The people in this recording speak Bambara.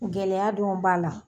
Gɛlɛya dɔ b'a la.